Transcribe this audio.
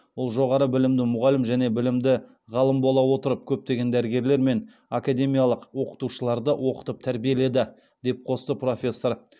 ол жоғары білімді мұғалім және білімді ғалым бола отырып көптеген дәрігерлер мен академиялық оқытушыларды оқытып тәрбиеледі деп қосты профессор